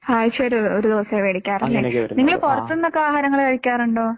ആഴ്ചയിൽ ഒരു ദിവസം മേടിക്കാറുള്ളൂ അല്ലേ.നിങ്ങള് പുറത്തുനിന്ന് ഒക്കെ ആഹാരങ്ങള് കഴിക്കാറുണ്ടോ ?